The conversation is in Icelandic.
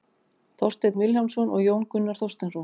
Þorsteinn Vilhjálmsson og Jón Gunnar Þorsteinsson.